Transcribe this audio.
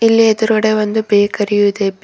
ಇಲ್ಲಿ ಎದುರುಗಡೆ ಒಂದು ಬೇಕರಿ ಯು ಇದೆ ಬೆ --